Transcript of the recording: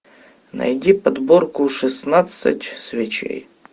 найди подборку шестнадцать свечей